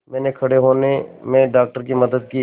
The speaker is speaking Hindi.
मैंने खड़े होने में डॉक्टर की मदद की